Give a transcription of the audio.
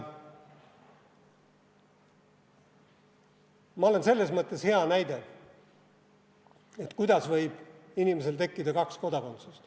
Ma olen selles mõttes hea näide, kuidas võib inimesel tekkida kaks kodakondsust.